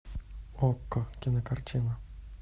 окко кинокартина